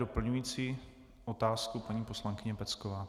Doplňující otázku paní poslankyně Pecková.